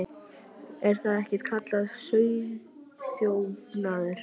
Er þetta ekki kallað sauðaþjófnaður?